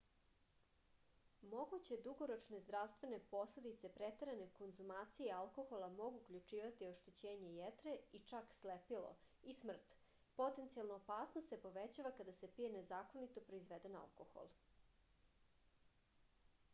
moguće dugoročne zdravstvene posledice preterane konzumacije alkohola mogu uključivati oštećenje jetre i čak slepilo i smrt potencijalna opasnost se povećava kada se pije nezakonito proizveden alkohol